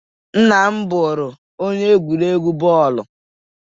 Nna m bụrụ onye egwuregwu bọọlụ.